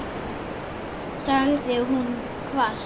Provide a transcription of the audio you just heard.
sagði hún hvasst.